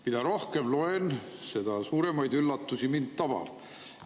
Mida rohkem ma loen, seda suuremad üllatused mind tabavad.